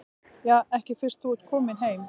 Ja, ekki fyrst þú ert kominn heim.